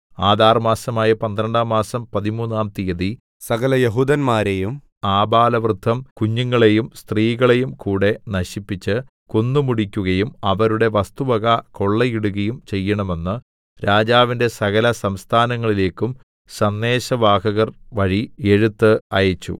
Adar മാസമായ പന്ത്രണ്ടാം മാസം പതിമൂന്നാം തീയതി സകലയെഹൂദന്മാരെയും ആബാലവൃദ്ധം കുഞ്ഞുങ്ങളെയും സ്ത്രീകളെയും കൂടെ നശിപ്പിച്ച് കൊന്നുമുടിക്കുകയും അവരുടെ വസ്തുവക കൊള്ളയിടുകയും ചെയ്യേണമെന്ന് രാജാവിന്റെ സകലസംസ്ഥാനങ്ങളിലേക്കും സന്ദേശവാഹകർ വഴി എഴുത്ത് അയച്ചു